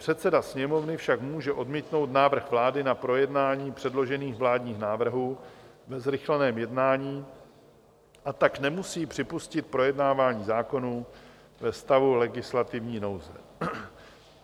Předseda Sněmovny však může odmítnout návrh vlády na projednání předložených vládních návrhů ve zrychleném jednání, a tak nemusí připustit projednávání zákonů ve stavu legislativní nouze.